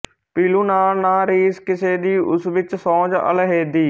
ਪੀਲੂ ਨਾਲ ਨਾ ਰੀਸ ਕਿਸੇ ਦੀ ਉਸ ਵਿੱਚ ਸੋਜ਼ ਅਲੈਹਦੀ